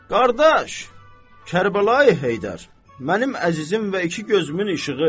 Qardaş Kərbəlayı Heydər, mənim əzizim və iki gözümün işığı!